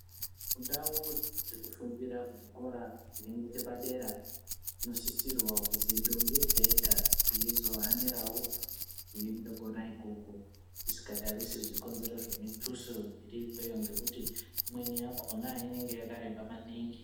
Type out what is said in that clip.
Ndau dzekufundira muzvikora zviri ngechepadera zvinosisirwa kuzi ndombi yega-yega ngeizohanirawo kuende kona ikoko. Isikatarisi zvikonzero zvemutuso iri ikweyo ngekuti imweni yakona inenge yakareba maningi.